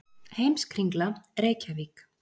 Heimskringla, Reykjavík.